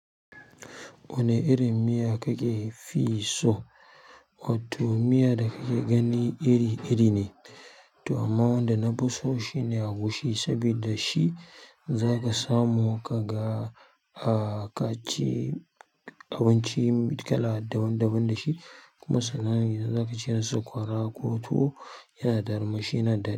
Wanne irin miya kake fi so? Watto miya da kake gani iri-iri ne, to amma wanda na fi so shine agushi saboda shi zaka samu ka ga, a ka ci abinci kala daban daban da shi. Kuma sannan idan zaka ci sakwara ko tuwo yana da armashi yana da.